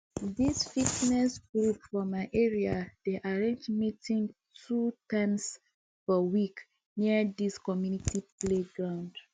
di fitness group for my area dey arrange meeting two times for a week near di community playground